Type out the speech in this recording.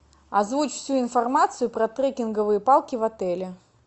озвучь всю информацию про трекинговые палки в отеле